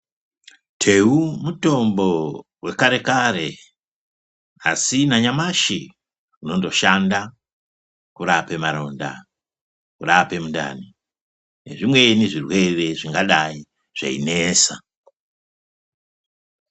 Teu mutombo wekare kare asi nanyamashi unondoshanda kurape maronda, kurape mundani nezvimweni zvirwere zvingadai zveinesa.